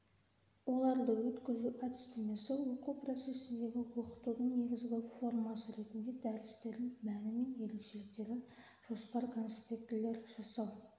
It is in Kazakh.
оларды өткізу әдістемесі оқу процесіндегі оқытудың негізгі формасы ретінде дәрістердің мәні мен ерекшеліктері жоспар-конспектілер жасау